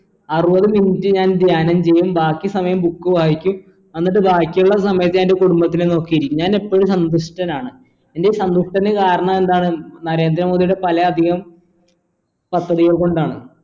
അറുപത് minute ഞാൻ ധ്യാനം ചെയ്യും ബാക്കി സമയം book വായിക്കും എന്നിട്ട് ബാക്കിയുള്ള സമയത്ത് ഞാൻ എൻ്റെ കുടുംബത്തിനെ നോക്കിയിരിക്കും ഞാൻ എപ്പോഴും സന്തുഷ്ടനാണ് എൻ്റെ ഈ സന്തുഷ്ട്ടന് കാരണം എന്താണെന്ന് നരേന്ദ്ര മോദിയുടെ പലേ അധികം പദ്ധതികൾ കൊണ്ടാണ്